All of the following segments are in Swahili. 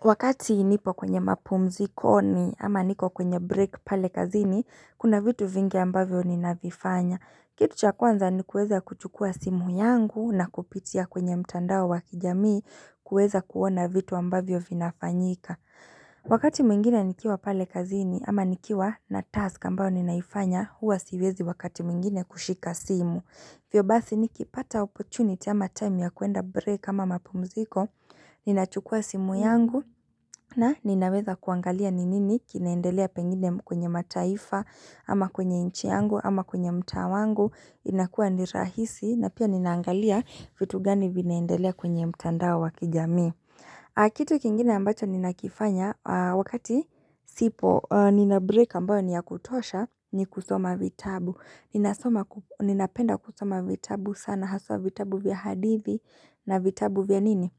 Wakati nipo kwenye mapumziko ni ama niko kwenye break pale kazini, kuna vitu vinge ambavyo ni navifanya. Kitu chakuanza ni kueza kuchukua simu yangu na kupitia kwenye mtandao wakijamii kueza kuona vitu ambavyo vinafanyika. Wakati mingine nikiwa pale kazini ama nikiwa na task ambao ninaifanya, huwa siwezi wakati mingine kushika simu. Vyo bathi nikipata opochuniti ama time ya kuenda break kama mapumziko Ninachukua simu yangu na ninaweza kuangalia ninini kinaendelea pengine kwenye mataifa Ama kwenye inchi yangu ama kwenye mta wangu inakua nirahisi na pia ninaangalia vitu gani vinaendelea kwenye mtandao wakijami Kitu kingine ambacho ninakifanya wakati sipo Nina break ambayo niya kutosha ni kusoma vitabu Ninapenda kusoma vitabu sana Haswa vitabu vya hadithi na vitabu vya nini?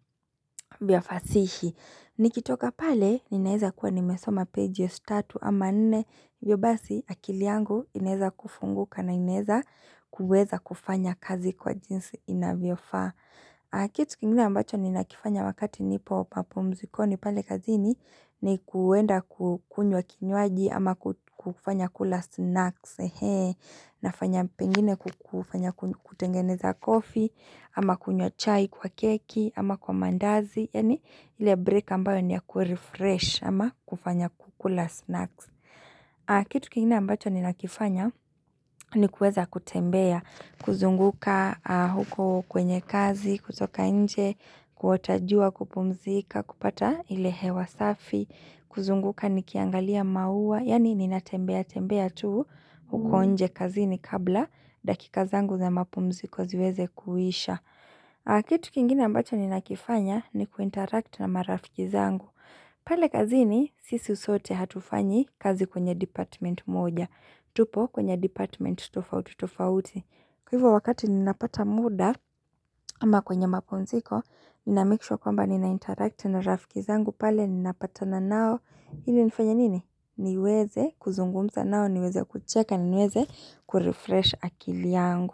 Vya fasihi nikitoka pale, ninaeza kuwa nimesoma pages tatu Ama nene, vyo basi akiliangu Ineza kufunguka na ineza kueza kufanya kazi kwa jinsi inavyo fa Kitu kingine ambacho nina kifanya wakati nipo papo mzikoni pale kazini ni kuwenda kukunywa kinyuaji Ama kufanya kula snacks Nafanya pengine kutengeneza kofi Ama kunyo chai kwa keki Ama kwa mandazi ile break ambayo niya kurefresh Ama kufanya kukula snacks Kitu kingine ambacho ni nakifanya ni kueza kutembea kuzunguka huko kwenye kazi kutoka nje Kuotajua kupumzika kupata ile hewa safi kuzunguka ni kiangalia maua Yani ni natembea tembea tu huko unje kazini kabla dakika zangu za mapumziko ziweze kuisha Kitu kingine ambacho ni nakifanya ni kuinteract na marafiki zangu pale kazini sisi usote hatufanyi kazi kwenye department moja tupo kwenye department tofauti tofauti Kwa hivyo wakati ninapata muda Ama kwenye mapumziko Ninamikishwa kwamba ninainteract na marafiki zangu pale ninapata na nao Hini nifanya nini? Niweze kuzungumza nao niweze kucheka niweze kurefresh akili yangu.